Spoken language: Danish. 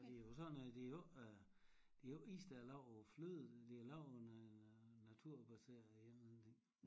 Og det er jo sådan noget det er jo æ det er jo æ is der er lavet af æ fløde det er lavet af af naturbaseret en eller anden ting